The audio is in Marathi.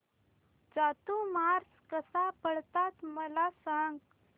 चातुर्मास कसा पाळतात मला सांग